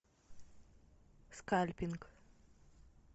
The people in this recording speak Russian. скальпинг